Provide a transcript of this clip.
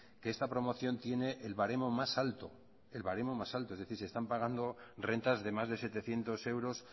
que esta promoción tiene el baremo más alto el baremo más alto es decir se están pagando rentas de más de setecientos euros